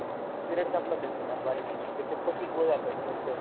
period संपला त्यांचा हा बऱ्यापैकी. त्यांचं पस्तीस वय झालं आता त्यांचं.